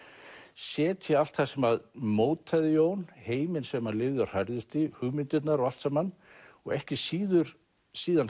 setja allt það sem mótaði Jón heiminn sem hann lifði og hrærðist í hugmyndirnar og allt saman og ekki síður síðan